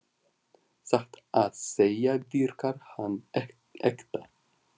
Satt að segja virkar hann ekta.